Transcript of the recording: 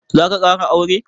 Zaka ƙara aure?